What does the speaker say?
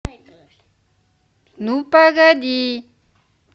ну погоди